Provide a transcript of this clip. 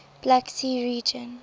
black sea region